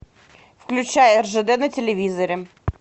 включай ржд на телевизоре